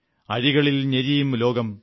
അഴികളിൽ ഞെരിയും ലോകം